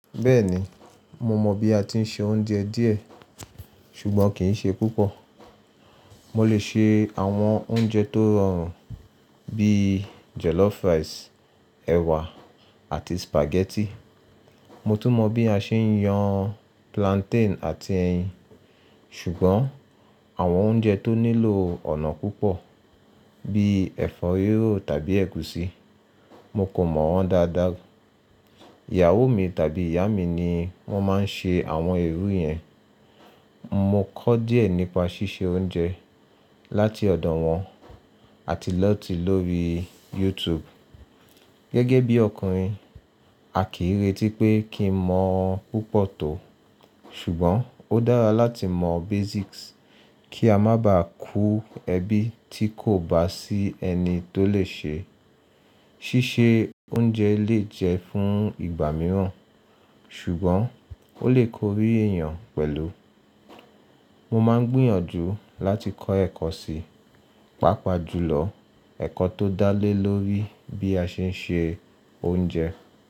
Bẹ́ẹ̀ni, mo mọ̀ bí a ti ń se oúnjẹ díẹ̀, ṣùgbọ́n kì í ṣe púpọ̀. Mo lè ṣe àwọn oúnjẹ tó rọrùn bíi jollof rice, ẹ̀wà àti spaghetti. Mo tún mọ̀ bí a ṣe ń yàn plantain àti ẹyín. Ṣùgbọ́n àwọn oúnjẹ tó nílò ọ̀nà púpọ̀ bíi ẹ̀fọ́ ríró tàbí ẹ̀gúsí, mo kò mọ̀ wọ́n dáadáa. Ìyàwó mi tàbí ìyá mi ni wọ́n máa ń ṣe àwọn èérú yẹn. Mo kọ́ díẹ̀ nípa ṣíṣe oúnjẹ láti ọ̀dọ̀ wọn àti lọ́ọ̀tí lórí YouTube. Gẹ́gẹ́ bí ọkùnrin, a kìí retí pé kí n mọ̀ púpọ̀ tó. Ṣùgbọ́n ó dára láti mọ basics kí a má ba à kú ẹbí tí kò bá sí ẹni tó lè ṣe. Ṣíṣe oúnjẹ lè jẹ fún ìgbà mìíràn, ṣùgbọ́n ó lè korí èèyàn pẹ̀lú. Mo máa ń gbìyànjú láti kọ́ ẹ̀kọ́ síi, pàápàá jùlọ ẹ̀kọ́ tó dá lé lórí bí a ṣe ń ṣe oúnjẹ.